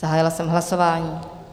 Zahájila jsem hlasování.